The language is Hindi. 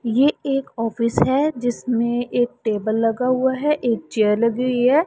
यह एक ऑफिस है जिसमें एक टेबल लगा हुआ है एक चेयर लगी हुई है।